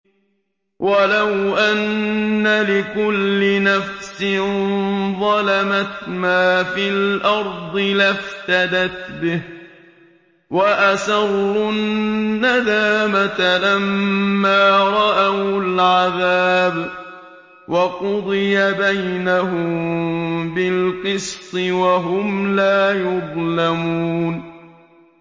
وَلَوْ أَنَّ لِكُلِّ نَفْسٍ ظَلَمَتْ مَا فِي الْأَرْضِ لَافْتَدَتْ بِهِ ۗ وَأَسَرُّوا النَّدَامَةَ لَمَّا رَأَوُا الْعَذَابَ ۖ وَقُضِيَ بَيْنَهُم بِالْقِسْطِ ۚ وَهُمْ لَا يُظْلَمُونَ